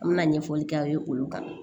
An bɛna ɲɛfɔli k'aw ye olu kan